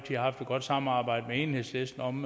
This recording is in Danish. godt samarbejde med enhedslisten om